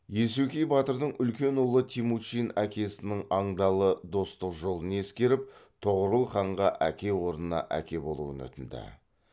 есукей батырдың үлкен ұлы темучин әкесінің андалы достық жолын ескеріп тоғорыл ханға әке орнына әке болуын өтінді